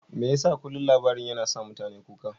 Me yasa kullum labarin yana sa mutane kuka?